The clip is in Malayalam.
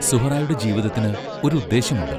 സുഹ്റായുടെ ജീവിതത്തിന് ഒരു ഉദ്ദേശ്യമുണ്ട്.